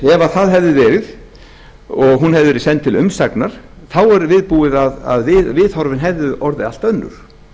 ef það hefði verið og hún hefði verið send til umsagnar þá er viðbúið að viðhorfin hefðu orðið allt önnur